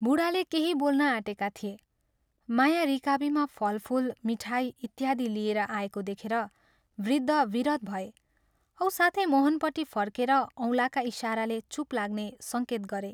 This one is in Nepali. बूढाले केही बोल्न ऑटेका थिए, माया रिकाबीमा फलफूल, मिठाई इत्यादि लिएर आएको देखेर वृद्ध विरत भए औ साथै मोहनपट्टि फर्केर औंलाका इशाराले चूप लाग्ने संकेत गरे।